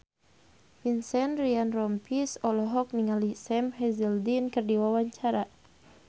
Vincent Ryan Rompies olohok ningali Sam Hazeldine keur diwawancara